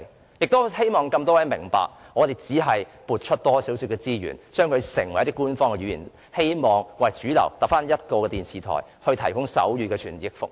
我亦希望各位明白，當局只需撥出一些資源，便能把手語列為官方語言，以致現時唯一一間主流電視台提供手語傳譯服務......